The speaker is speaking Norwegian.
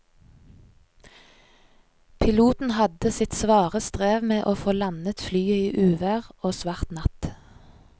Piloten hadde sitt svare strev med å få landet flyet i uvær og svart natt.